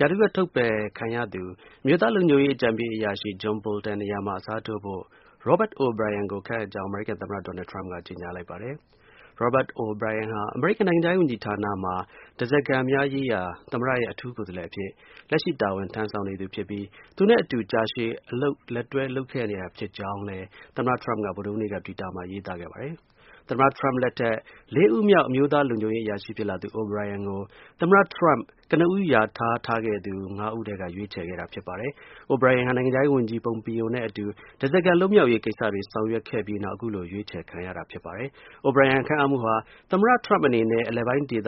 ရာထူးက ထုတ်ပယ်ခံရသူ အမျိုးသား လုံခြုံရေး အကြံပေး အရာရှိ John Bolton နေရာမှာ အစားထိုးဖို့ Robert O’ Brian ကို ခန့်အပ်ကြောင်း အမေရိကန် သမ္မတ Donald Trump က ကြေညာလိုက်ပါတယ်။ Robert O’ Brian ဟာ အမေရိကန် နိုင်ငံခြားရေး ဝန်ကြီးဌာနမှာ ဓါးစားခံများရေးရာ သမ္မတရဲ့ အထူး ကိုယ်စားလှယ်အဖြစ် လက်ရှိ တာဝန် ထမ်းဆောင်နေသူဖြစ်ပြီး သူနဲ့အတူ ကြာရှည် အလုပ် လက်တွဲ လုပ်နေခဲ့တာ ဖြစ်ကြောင်းလည်း သမ္မတ Trump က ဗုဒ္ဓဟူးနေ့က တွစ်တာမှာ ရေးသားခဲ့ပါတယ်။ သမ္မတ Trump လက်ထက် လေးဦးမြောက် အမျိုးသား လုံခြုံရေး အရာရှိ ဖြစ်လာသူ O’Brien ကို သမ္မတ Trump ကနဦး လျာထားထားခဲ့သူ ၅ ဦး ထဲက ရွေးချယ်ခဲ့တာ ဖြစ်ပါတယ်။ O’Brien ဟာ နိုင်ငံခြားရေး ဝန်ကြီး Pompeo နဲ့အတူ ဓါးစာခံ လွတ်မြောက်ရေး ကိစ္စတွေ ဆောင်ရွက်ခဲ့ပြီး နောက် အခုလို ရွေးချယ်ခံရတာ ဖြစ်ပါတယ်။ O’Brien ခန့်အပ်မှုဟာ သမ္မတ Trump အနေနဲ့ အရှေ့အလယ်ပိုင်း ဒေ